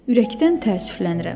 Ürəkdən təəssüflənirəm.